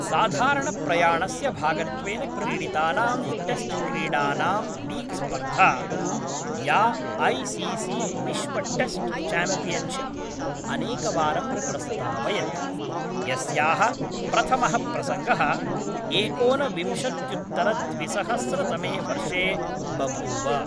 साधारणप्रयाणस्य भागत्वेन क्रीडितानां टेस्ट्क्रीडानां लीग् स्पर्धा, या ऐ सि सि विश्वटेस्ट् च्याम्पियन्शिप् अनेकवारं प्रस्तावयत्, यस्याः प्रथमः प्रसङ्गः एकोनविंशत्युत्तरद्विसहस्रतमे वर्षे बभूव।